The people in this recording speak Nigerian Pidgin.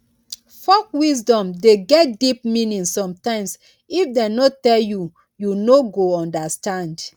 folk wisdom de get deep meaning sometimes if dem no tell you you no go understand